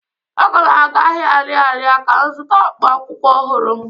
Aga m aga ahia Ariaria ka m zụta akpụkpọụkwụ ọhụrụ